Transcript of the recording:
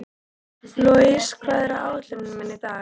Louisa, hvað er á áætluninni minni í dag?